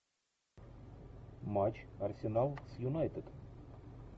матч арсенал с юнайтед